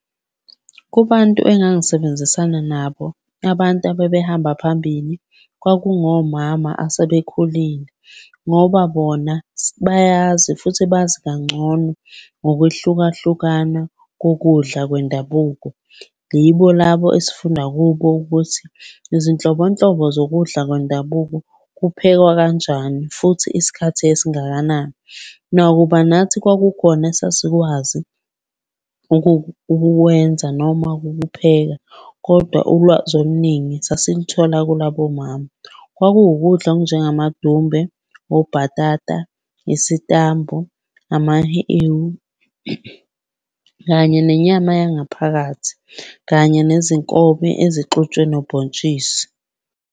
Kubantu engangisebenzisana nabo, abantu ababehamba phambili kwakungomama asebekhulile, ngoba bona bayazi futhi bazi kangcono ngokwehlukahlukana kokudla kwendabuko. Yibo labo esifunda kubo ukuthi izinhlobonhlobo zokudla kwendabuko kuphekwa kanjani futhi isikhathi esingakanani. Nakuba nathi kwakukhona esasikwazi ukuwenza noma ukukupheka, kodwa ulwazi oluningi sasiluthola kulabo mama. Kwakuwukudla okunjengamadumbe, obhatata, isitambu, amahewu, kanye nenyama yangaphakathi, kanye nezinkobe ezixutshwe nobhontshisi.